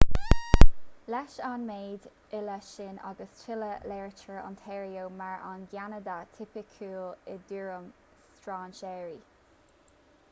leis an méid uile sin agus tuilleadh léirítear ontario mar an gceanada tipiciúil i dtuairim strainséirí